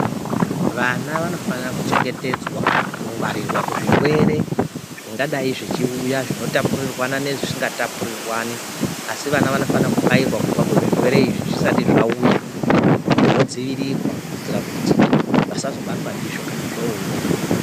Vana vanofana kuchengetedzwa, kungwarirwa kuzvirwere, zvingadai zvichiuya, zvinotapuriranwa nezvisingatapurirwani, asi vana vanofanirwa kubairwa kubva kuzvirwere izvi zvisati zvauya vodziirirwa kuitira kuti vasazobatwa ndizvo kana zvoouya.